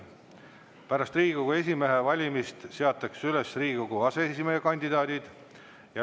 Pärast Riigikogu esimehe valimist seatakse üles Riigikogu aseesimeeste kandidaadid.